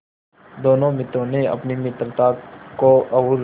दोनों मित्रों ने अपनी मित्रता को और